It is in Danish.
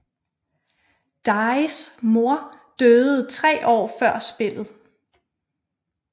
Dajhs mor døde 3 år før spillet